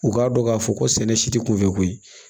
U k'a dɔn k'a fɔ ko sɛnɛ si tɛ kunfɛ ko ye